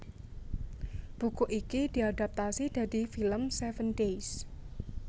Buku iki diadaptasi dadi film Seven Days